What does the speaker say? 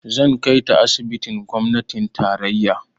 Zan kai ta asibitin gwamnatin tarayya.